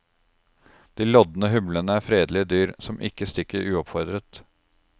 De lodne humlene er fredelige dyr, som ikke stikker uoppfordret.